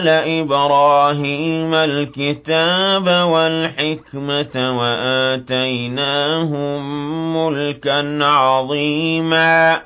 آلَ إِبْرَاهِيمَ الْكِتَابَ وَالْحِكْمَةَ وَآتَيْنَاهُم مُّلْكًا عَظِيمًا